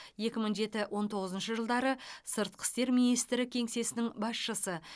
екі мың жеті он тоғызыншы жылдары сыртқы істер министрі кеңсесінің басшысы